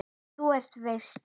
Þér eruð sá versti.